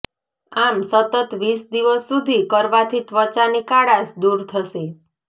આમ સતત વીસ દિવસ સુધી કરવાથી ત્વચાની કાળાશ દૂર થશે